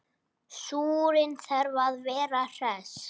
Súrinn þarf að vera hress!